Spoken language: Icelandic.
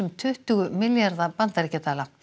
tuttugu milljarða bandaríkjadala